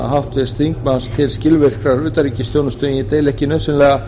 háttvirts þingmanns til skilvirkrar utanríkisþjónustu en ég deili ekki nauðsynlega